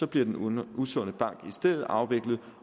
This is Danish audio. bliver den usunde bank i stedet afviklet